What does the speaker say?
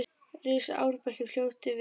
Rís árbakki fljóti hjá.